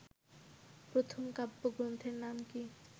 প্রথম কাব্যগ্রন্থের নাম কি